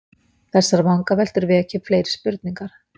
Þessar vangaveltur vekja upp fleiri spurningar.